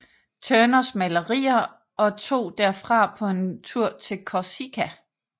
Turners malerier og tog derfra på en tur til Korsika